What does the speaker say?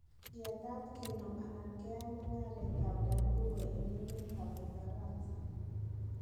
Yetat kenom anan keyaai mugaaret ab danguro en emet ab Ufaransa.